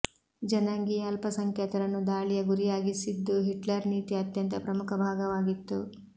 ಜನಾಂಗೀಯ ಅಲ್ಪಸಂಖ್ಯಾತರನ್ನು ದಾಳಿಯ ಗುರಿಯಾಗಿಸಿದ್ದು ಹಿಟ್ಲರ್ ನೀತಿಯ ಅತ್ಯಂತ ಪ್ರಮುಖ ಭಾಗವಾಗಿತ್ತು